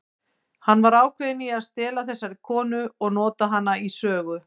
Hann var ákveðinn í að stela þessari konu og nota hana í sögu.